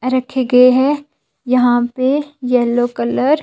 रखे गए हैं यहां पे येलो कलर --